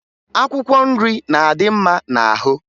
Akwụkwọ nri na-adị mma n'ahụ